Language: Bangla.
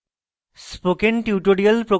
spoken tutorial প্রকল্প the